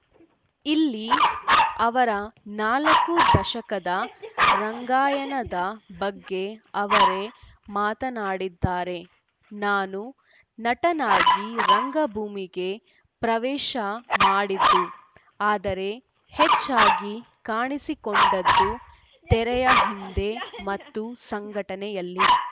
ಇಲ್ಲಿ ಅವರ ನಾಲ್ಕು ದಶಕದ ರಂಗಯಾನದ ಬಗ್ಗೆ ಅವರೇ ಮಾತನಾಡಿದ್ದಾರೆ ನಾನು ನಟನಾಗಿ ರಂಗಭೂಮಿಗೆ ಪ್ರವೇಶ ಮಾಡಿದ್ದು ಆದರೆ ಹೆಚ್ಚಾಗಿ ಕಾಣಿಸಿಕೊಂಡದ್ದು ತೆರೆಯ ಹಿಂದೆ ಮತ್ತು ಸಂಘಟನೆಯಲ್ಲಿ